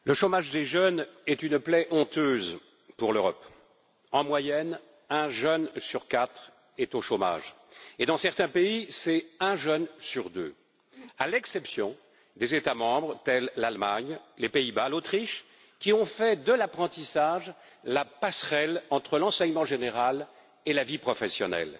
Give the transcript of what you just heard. Madame la Présidente, le chômage des jeunes est une plaie honteuse pour l'Europe. En moyenne, un jeune sur quatre est au chômage et, dans certains pays, c'est un jeune sur deux à l'exception d'États membres, tels que l'Allemagne, les Pays-Bas et l'Autriche, qui ont fait de l'apprentissage la passerelle entre l'enseignement général et la vie professionnelle.